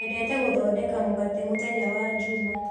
Nyendete gũthondeka mũgate mũthenya wa njuma.